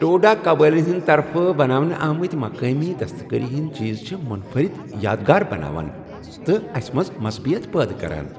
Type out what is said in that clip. ٹوڈا قبٲئلن ہٕنٛد طرفہٕ بناونہٕ آمٕتۍ مقٲمی دستکٲری ہندۍ چیز چھِ منفرد یادگار بناوان تہٕ اسہِ منٛز مثبتیت پٲدٕ کران۔